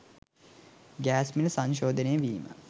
gas මිල සංශෝධනය වීම